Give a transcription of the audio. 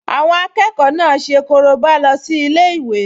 Àwọn akẹ́kọ̀ọ náà ṣe korobá lọ sí ilé-ìwé